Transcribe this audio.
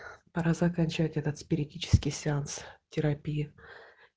пора заканчивать этот спиритический сеанс терапия